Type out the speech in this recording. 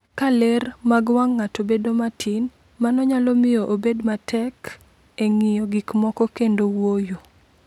Ka ler mag wang’ ng’ato bedo matin, mano nyalo miyo obed matek e ng’iyo gik moko kendo wuoyo.